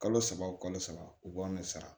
Kalo saba o kalo saba u b'an sara